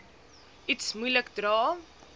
iets moeilik dra